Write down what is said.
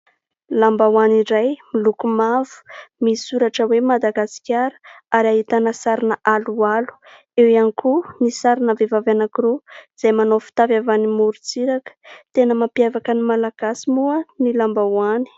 Lambahoany iray miloko mavo misy soratra hoe : "Madagasikara" ary ahitana sarina aloalo. Eo ihany koa ny sarina vehivavy anankiroa izay manao fitafy avy any amorontsiraka. Tena mampiavaka ny malagasy moa ny lambahoany.